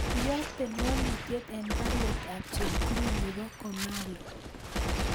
Iyokten walutiet en baruet ab Chepkirui nebo komalo